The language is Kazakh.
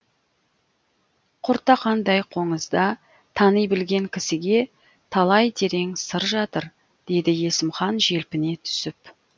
құртақандай қоңызда тани білген кісіге талай терең сыр жатыр деді есімхан желпіне түсіп